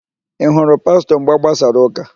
Ị hụrụ Pastọ mgbe a gbasara ụ́kà?